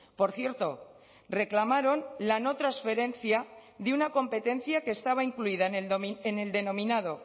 por cierto reclamaron la no transferencia de una competencia que estaba incluida en el denominado